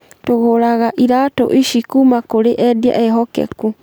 Tũgũraga iratũ ici kuuma kũrĩ endia ehokeku.